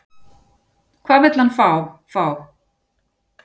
Hvað vill hann fá, fá?